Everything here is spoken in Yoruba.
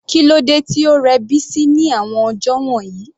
Kílódé tí ó rẹ Bisi ní àwọn ọjọ́ wọ̀nyí?